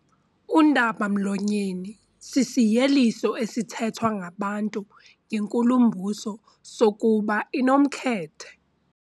Undaba-mlonyeni sisiyeliso esithethwa ngabantu ngenkulumbuso sokuba inomkhethe.